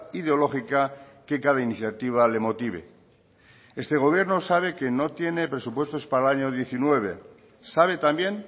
ideológica que cada iniciativa le motive este gobierno sabe que no tiene presupuestos para el año diecinueve sabe también